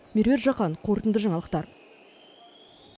меруерт жақан қорытынды жаңалықтар